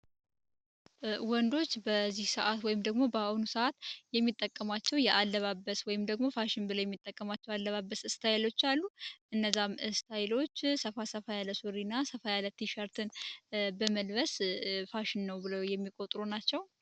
ወንዶች በዚህ ሰዓት ወይም ደግሞ በአሁኑ ሰዓት የሚጠቀሟቸው የአለባበስ ወይም ደግሞ ፋሽን ብለ የሚጠቀሟቸው አለባበስ እስታይሎች አሉ እነዛም እስታይሎች ሰፋ ሰፋ ያለሶሪ እና ሰፋይ ያለትሻርትን በመልበስ ፋሽን ነው ብለ የሚቆጥሩ ናቸው